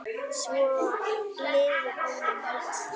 Svo liðu áramót.